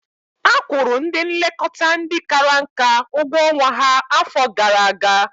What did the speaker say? Akwụrụ ndị nlekọta ndị kara nka ụgwọ ọnwa ha afọ gara aga.